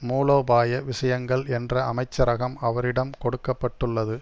மூலோபாய விஷயங்கள் என்ற அமைச்சரகம் அவரிடம் கொடுக்க பட்டுள்ளது